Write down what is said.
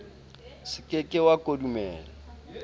se ke ke sa kodumela